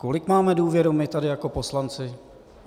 Kolik máme důvěru my tady jako poslanci?